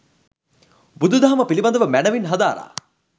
බුදු දහම පිළිබඳව මැනවින් හදාරා